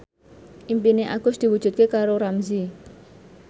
impine Agus diwujudke karo Ramzy